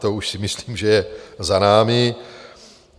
To už si myslím, že je za námi.